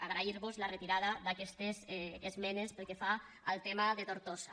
agrair vos la retirada d’aquestes esmenes pel que fa al tema de tortosa